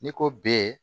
N'i ko b